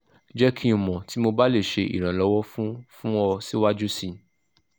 jẹ ki n mọ ti mo ba le ṣe iranlọwọ fun fun ọ siwaju sii